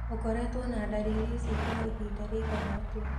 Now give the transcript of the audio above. ũkoretwo na ndariri ici kwa ihinda rĩigana atĩa?